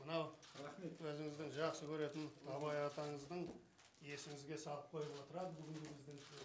мынау рахмет өзіңіздің жақсы көретін абай атаңыздың есіңізге салып қойып отырады бүгінгі біздің